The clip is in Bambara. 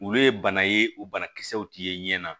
Olu ye bana ye u banakisɛw ti ye ɲɛ na